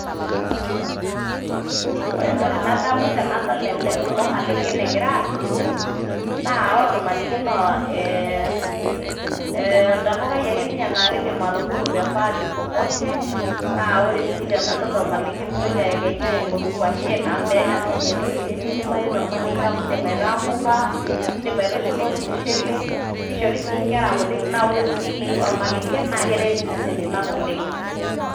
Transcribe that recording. Ore entoki nadamu tenadol ele kulo malengen egira aabulu naa ore ormalenge naa ee ee entapukai ake ninye naake idim atubulu te pahali popote, naa ore sii tenadol ormalenge mintoki ayekenya aing'oru ng'washen amu meeta ninye entoki nemidimayu tormalenge amu indim aiataa mbuka, indim aitushula ormushele, kishori sii nkera kutitik naa ore sii ormalenge naake eret iseseni lang' oleng'.